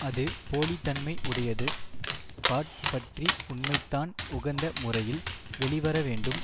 அது போலித்தன்மை உடையது பாட் பற்றி உண்மைதான் உகந்த முறையில் வெளிவரவேண்டும்